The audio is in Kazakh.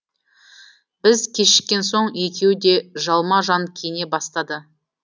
біз кешіккен соң екеуі де жалма жан киіне бастады